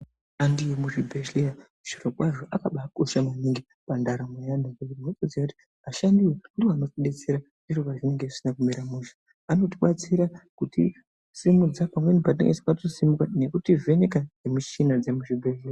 Vashandi vemuzvibhedhlera zvirokwazvo akabaakosha maningi pandaramo yevantu nekuti unotoziya kuti ashandiwo ndoanotibetsera zviro pazvinenge zvisina kumira zvakanaka. Anotibatsira kuti simudza patinenge tisikakoni kusimuka nekutivheneka nemushina dzemuzvibhedhlera.